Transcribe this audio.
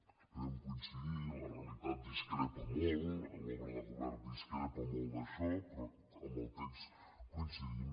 esperem coincidir la realitat dis·crepa molt l’obra de govern discrepa molt d’això però amb el text coincidim